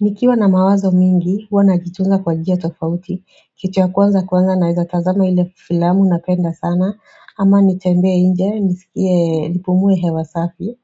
Nikiwa na mawazo mingi, huwa najitunza kwa njia tofauti Kitu ya kwanza kwanza na naweza tazama ile filamu napenda sana ama nitembee nje, nisikie, nipumue hewa safi